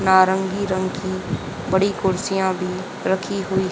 नारंगी रंग की बड़ी कुर्सियां भी रखी हुई--